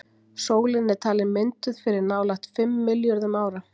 sólin er talin mynduð fyrir nálægt fimm milljörðum ára